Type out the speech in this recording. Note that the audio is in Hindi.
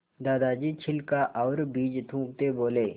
दादाजी छिलका और बीज थूकते बोले